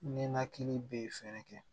Ninakili bee fɛɛrɛ kɛ